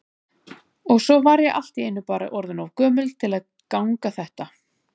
Og svo var ég allt í einu bara orðin of gömul til að ganga þetta.